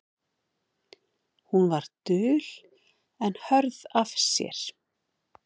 Hún var dul en hörð af sér.